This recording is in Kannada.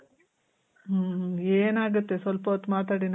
ಮ್ಮ್. ಏನಾಗುತ್ತೆ ಸ್ವಲ್ಪ ಹೊತ್ ಮಾತಾಡಿ